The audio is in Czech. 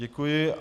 Děkuji.